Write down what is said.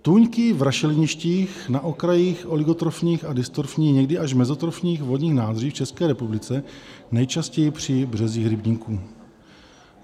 Tůňky v rašeliništích na okrajích oligotrofních a dystrofních, někdy až mezotrofních vodních nádrží, v České republice nejčastěji při březích rybníků.